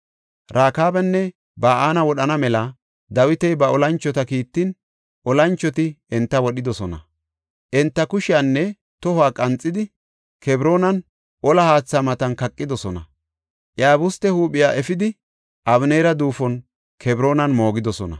Rekaabanne Ba7ana wodhana mela Dawiti ba olanchota kiittin, olanchoti enta wodhidosona. Enta kushiyanne tohuwa qanxidi, Kebroonan olla haatha matan kaqidosona. Iyabuste huuphiya efidi, Abeneera duufon Kebroonan moogidosona.